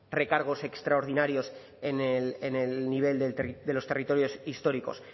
recargos extraordinarios en el nivel de los territorios históricos